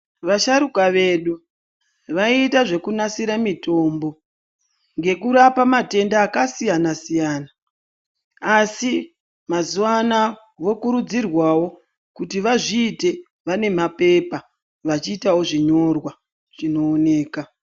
Vasharuka vedu vaita zvekunasire mitombo ngekurapa matenda akasiyanasiyana asi mazuwa anaya vokurudzirwawo kuti vazviite vanemapepa vachiitawo zvinyorwa zvinooneka.